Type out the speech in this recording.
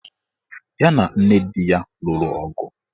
Ya na nne di ya lụrụ ọgụ.